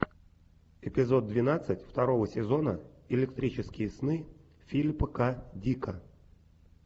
эпизод двенадцать второго сезона электрические сны филипа к дика